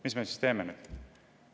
Mis me siis teeme?